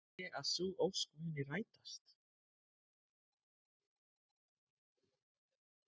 Held ég að sú ósk muni rætast?